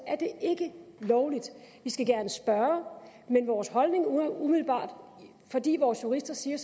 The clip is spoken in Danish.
ikke er lovligt vi skal gerne spørge men vores holdning er umiddelbart fordi vores jurister siger